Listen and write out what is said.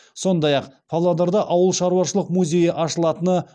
сондай ақ павлодарда ауылшаруашылық музейі ашылатыны